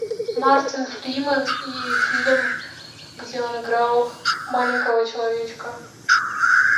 мартин фриман и фильм где он играл маленького человечка